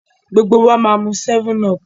gbogbo wá má mú 7up.